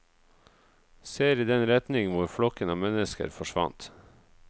Ser i den retning hvor flokken av mennesker forsvant.